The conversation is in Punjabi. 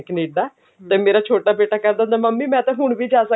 ਕਨੇਡਾ ਤੇ ਮੇਰਾ ਛੋਟਾ ਕਹਿੰਦਾ ਹੁਣ ਮੰਮੀ ਮੈਂ ਤਾਂ ਹੁਣ ਵੀ ਜਾ